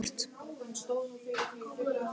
Og loftið svo tært.